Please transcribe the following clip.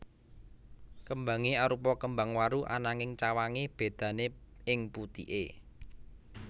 Kembange arupa kembang waru ananging cawange bedane ing putike